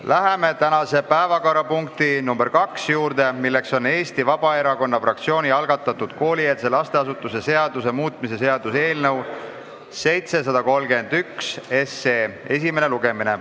Läheme tänase päevakorrapunkti nr 2 juurde, milleks on Eesti Vabaerakonna fraktsiooni algatatud koolieelse lasteasutuse seaduse muutmise seaduse eelnõu esimene lugemine.